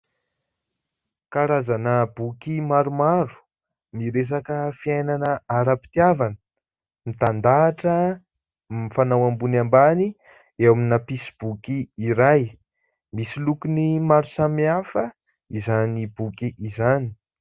Karazana boky maromaro miresaka fiainana ara-pitiavana mitandahatra mifanao ambony ambany eo amina mpisy boky iray, misy lokony maro samihafa izany boky izany.